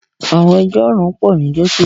àwọn ẹjọ́ ọ̀ràn pọ̀ ní gẹ́tò